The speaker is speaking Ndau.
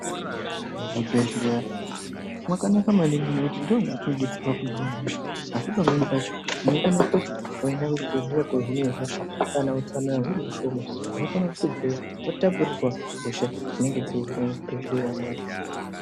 Muzvibhedhleya mwakanaka maningi ngekuti ndoo mwetinobetserwa kuhina hosha asi pamweni pacho unofana kuendayo wohinwa hosha asi kana utsanana huri hushoma unokona kuzobveyo watapurirwa hosha dzinenge dziriyo.